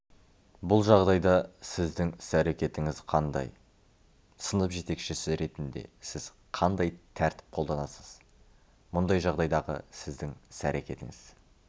бұл жағдайда сіздің іс-әрекетіңіз қандай сынып жетекшісі ретінде сіз қандай тәртіп қолданасыз мұндай жағдайдағы сіздің іс-әрекетіңіз